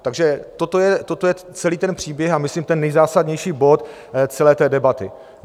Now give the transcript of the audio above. Takže toto je celý ten příběh a myslím ten nejzásadnější bod celé té debaty.